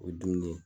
O ye dumuni ye